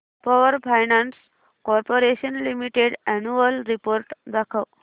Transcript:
power finance corporation limited annual report दाखव